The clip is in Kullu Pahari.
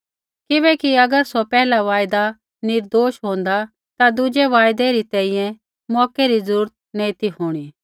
किबैकि अगर सौ पैहिला वायदा निर्दोष होंदा ता दुज़ै वायदै री तैंईंयैं मौकै री ज़रूरत ही नैंई ती होंणी